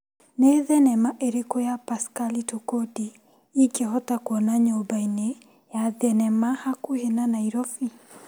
Nĩ thinema ĩrĩkũ ya Paskali Tokodi ingĩhota kuona nyũmba-inĩ ya thinema hakuhĩ na Naĩrobĩ ?